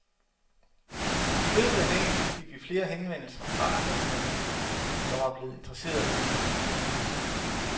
I løbet af dagen fik vi flere henvendelser fra andre journalister, der var blevet interesseret i kampagnen.